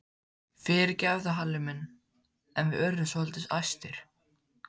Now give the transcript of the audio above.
Fyrirgefðu Halli minn en við urðum svolítið æstir.